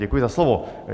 Děkuji za slovo.